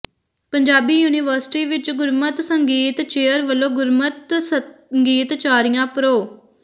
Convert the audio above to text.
Punjabi university ਵਿੱਚ ਗੁਰਮਤਿ ਸੰਗੀਤ ਚੇਅਰ ਵੱਲੋਂ ਗੁਰਮਤਿ ਸੰਗੀਤਾਚਾਰੀਆ ਪ੍ਰੋ